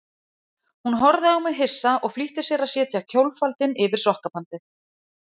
Hún horfði á mig hissa og flýtti sér að setja kjólfaldinn yfir sokkabandið.